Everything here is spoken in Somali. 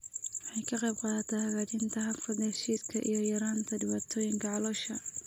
Waxay ka qaybqaadataa hagaajinta habka dheef-shiidka iyo yaraynta dhibaatooyinka caloosha.